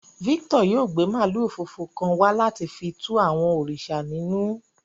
Victor yóò gbe maalu funfun kan wa lati fi tù àwọn òrìṣà ninù.